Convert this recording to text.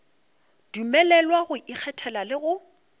dumelelwa go ikgethela le go